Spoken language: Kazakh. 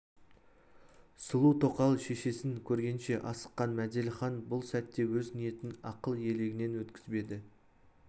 сұлу тоқал шешесін көргенше асыққан мәделіхан бұл сәтте өз ниетін ақыл елегінен өткізбеді